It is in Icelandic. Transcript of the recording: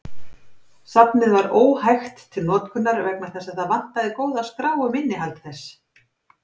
Safnið var óhægt til notkunar vegna þess að það vantaði góða skrá um innihald þess.